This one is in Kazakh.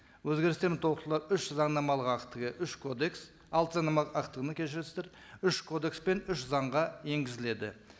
өзгерістер мен толықтырулар үш заңнамалық актіге үш кодекс алты заңнамалық актіні кешірерсіздер үш кодекс пен үш заңға енгізіледі